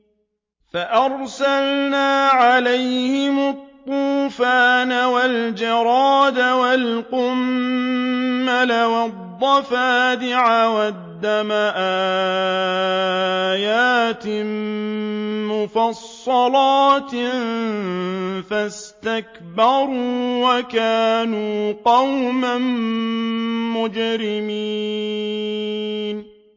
فَأَرْسَلْنَا عَلَيْهِمُ الطُّوفَانَ وَالْجَرَادَ وَالْقُمَّلَ وَالضَّفَادِعَ وَالدَّمَ آيَاتٍ مُّفَصَّلَاتٍ فَاسْتَكْبَرُوا وَكَانُوا قَوْمًا مُّجْرِمِينَ